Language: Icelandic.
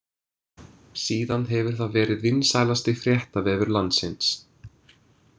Síðan hefur það verið vinsælasti fréttavefur landsins.